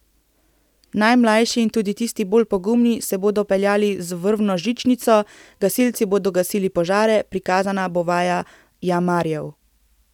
Najmlajši in tudi tisti bolj pogumni se bodo peljali z vrvno žičnico, gasilci bodo gasili požare, prikazana bo vaja jamarjev.